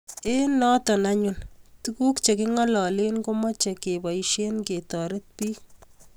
eng notok anyun tuguk che kingalale ko mache keboishe ketaret piik